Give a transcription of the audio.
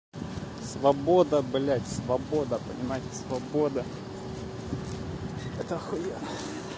свобода блять свобода понимаете свобода это ахуенно